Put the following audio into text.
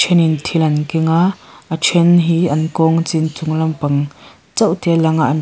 then in thil an keng a a then hi an kawng a chin chung lampang chauh te a lang a an--